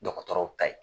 Dɔgɔtɔrɔw ta ye